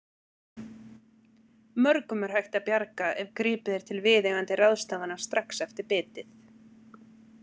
Mörgum er hægt að bjarga ef gripið er til viðeigandi ráðstafana strax eftir bitið.